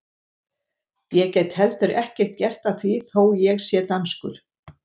Ég get heldur ekkert gert að því þó ég sé danskur!